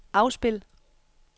afspil